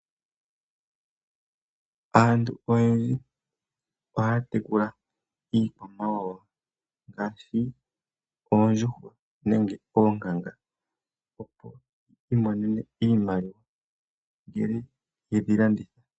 Aantu oyendji ohaya tekula iikwamawawa ngaashi oondjuhwa nenge oonkanga opo yi imonene iimaliwa ngele yedhi landitha.